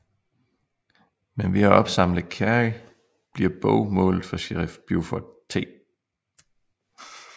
Men ved at opsamle Carrie bliver Bo målet for sherif Buford T